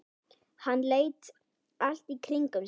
Hann leit allt í kringum sig.